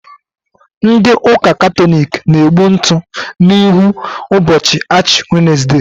Ndị ụka Katọlik na-egbu ntụ n'ihu ụbọchị Ashi wenesde.